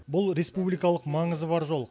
бұл республикалық маңызы бар жол